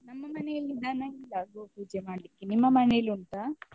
ನಮ್ಮ ಮನೆಯಲ್ಲಿ ದನ ಇಲ್ಲ ಗೋಪೂಜೆ ಮಾಡ್ಲಿಕ್ಕೆ ನಿಮ್ಮ ಮನೆಯಲ್ಲಿ ಉಂಟಾ?